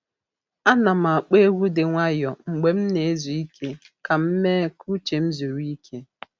A nà'm ákpọ́ egwu dị nwayọ mgbe m na-ezu ike ka m mee ka uche m zuru ike.